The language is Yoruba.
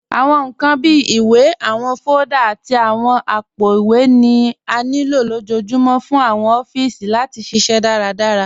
Awọn nkan bíi ìwé, awọn fóòlda, àti awọn àpòowé ni à nílo lọjọ́ọ̀júmọ̀ fún awọn òfíìsí láti ṣiṣẹ daradárá